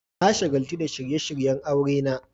Na shagaltu da shirye-shiryen aurena.